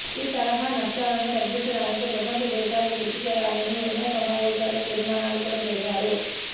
ఈతరహా నష్టాలను తగ్గించడానికి ప్రపంచ దేశాలు కృషి చేయాలని ఎన్నో సమావేశాల్లో తీర్మానాలు కూడా చేశారు